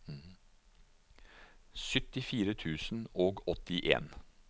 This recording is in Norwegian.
syttifire tusen og åttien